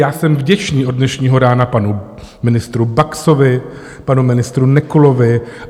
Já jsem vděčný od dnešního rána panu ministru Baxovi, panu ministru Nekulovi.